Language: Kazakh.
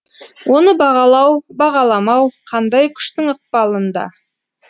оны бағалау бағаламау қандай күштің ықпалында